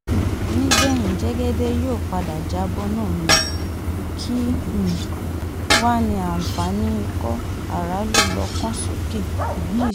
nígbẹ̀yìn jẹ́gẹ́dẹ́ yóò padà já bọ́ náà ni kí um wàá ní àǹfààní ikọ̀-aráàlú-lọ́kàn-sókè um yìí